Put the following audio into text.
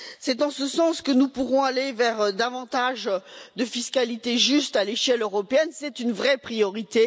C'est dans ce sens que nous pourrons aller vers davantage de fiscalité juste à l'échelle européenne, c'est une vraie priorité.